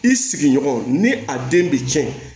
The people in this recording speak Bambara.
I sigiɲɔgɔn ni a den bɛ cɛn